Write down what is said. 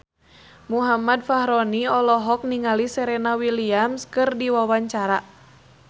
Muhammad Fachroni olohok ningali Serena Williams keur diwawancara